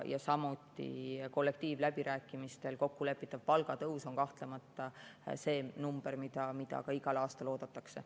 Samuti on kollektiivläbirääkimistel kokkulepitav palgatõus kahtlemata see number, mida igal aastal oodatakse.